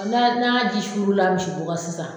A n'a n'a ji suurula misi bo ka sisan